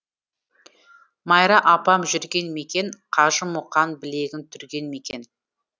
майра апам жүрген мекен қажымұқан білегін түрген мекен